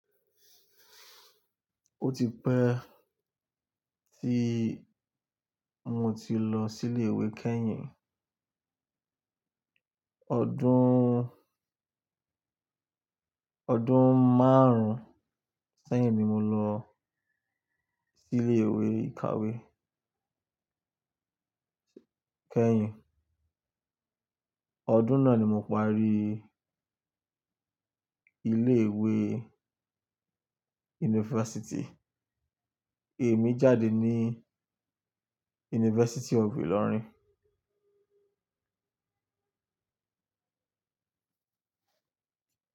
Ó ti pẹ́ tí mo ti lọ sí ilé ìwé kẹ́yìn. Ọdún, ọdún márùn-ún sẹ́yìn ni mo lọ sí ilé ìwé ìkàwé kẹ́yìn. Ọdún náà ni mo parí ilé ìwé yunifásítì. Èmi jáde ní University of Ilorin.